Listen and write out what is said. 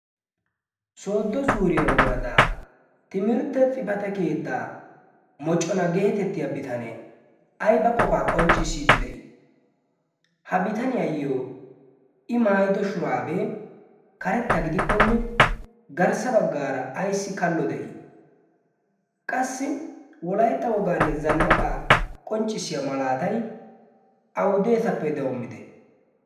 sooddo zuuriyaa woradaa timirtte xifate keettaa mocona geetettiya bitanay ay ba qofaa qonccissiiddi de'ii ha bitaniyaayyo i maayido shuraabee karetta gidikkonne garssa baggaara ayssi kallo de'ii qassi wolaytta wogaanne zannaqaa qonccissiya malaatay awudeesappe doommide